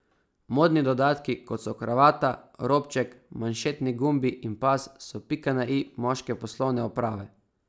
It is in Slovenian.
Modni dodatki, kot so kravata, robček, manšetni gumbi in pas, so pika na i moške poslovne oprave.